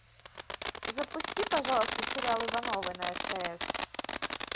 запусти пожалуйста сериал ивановы на стс